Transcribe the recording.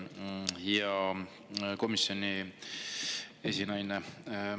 Hea komisjoni esinaine!